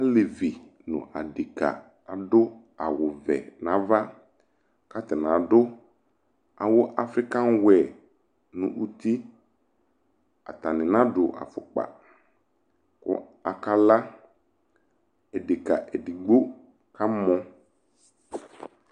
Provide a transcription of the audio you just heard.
Alevi no adeka ado awuvɛ nava ka atana do awo afrikanwɛɛ no utiAtane nado afokpa ko aka laEdeka edigbo kamɔ